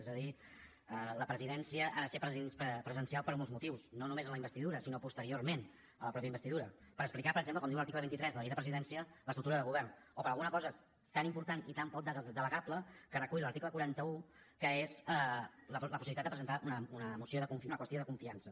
és a dir la presidència ha de ser presencial per molts motius no només en la investidura sinó posteriorment a la mateixa investidura per explicar per exemple com diu l’article vint tres de la llei de presidència l’estructura de govern o per a un cosa tan important i tan poc delegable que recull l’article quaranta un que és la possibilitat de presentar una qüestió de confiança